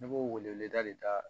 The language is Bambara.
Ne b'o wele weleda de da